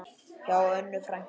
Hjá Önnu frænku.